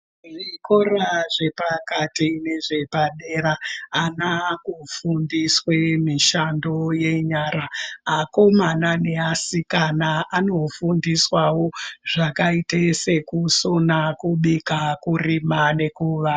Zvikora zvepakati nezvepadera antu akona akufundiswa mishando yepadera akomana nevasikana anofundiswawo zvakaita sekusona kubika kurima nekuvaka.